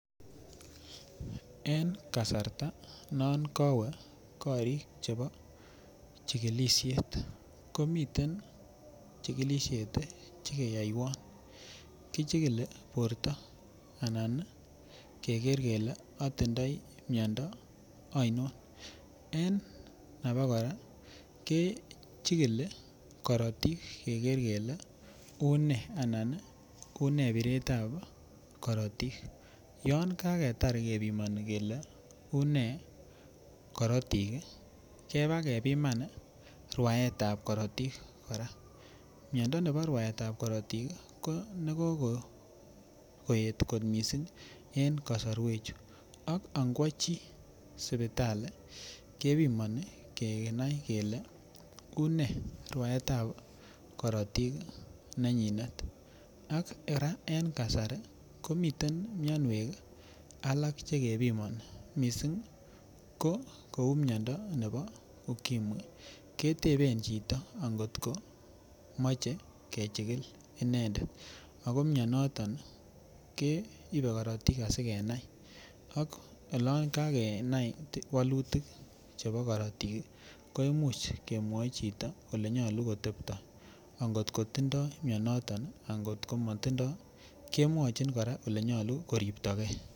En kasarta non kowee chikilishet komiten chikilishet chekeyoiwon, kichikili borto anan keker kelee atindoi miondo ainon, en abakora kechikili korotik keker kelee unee anan unee biretab korotik, yoon kaketar kebimoni kelee unee korotik kebakebiman rwaetab korotik kora, miondo nebo rwaetab korotik ko nekokoet kot mising en kosorwechu, ak ingwochi sipitali kebimoni kenai kelee unee rwaetab korotik nenyinet ak kora en kasari komiten mionwek alak chekebimoni mising ko kouu miondo nebo ukimwi, kweteben chito angot komoje kechikil inendet ak ko mionoton keibe korotik asikenai ak olon kakenai wolutik chebo korotik kemuch kemwoi chito olenyolu kotebto angot kotindo mionoton angot komotindo kemwochin kora elenyolu koribtoke.